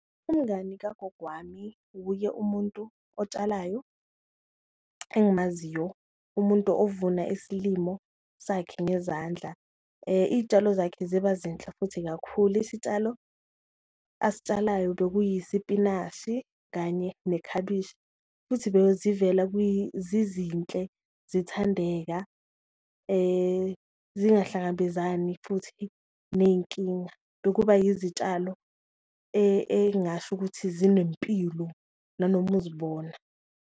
Umngani kagogo wami wuye umuntu otshalayo engimaziyo, umuntu ovuna isilimo sakhe ngezandla iyitshalo zakhe ziba zinhle futhi kakhulu, isitshalo ayitshalayo bekuyisipinashi kanye nekhabishi. Futhi zizinhle zithandeka, zingahlangabezani futhi neyinkinga bekuba yizitshalo eyingasho ukuthi zinempilo nanoma uzibona.